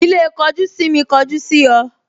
Ilé kojú sími kọjú sí ọ